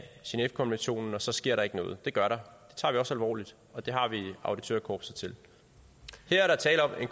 genèvekonventionen og så sker der ikke noget det gør der og vi tager det også alvorligt og det har vi auditørkorpset til her er der tale om at